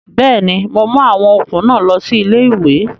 Bẹ́ẹ̀ni, mo mú àwọn okùn náà lọ sí ilé-ìwé